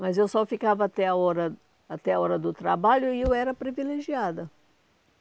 Mas eu só ficava até a hora até a hora do trabalho e eu era privilegiada.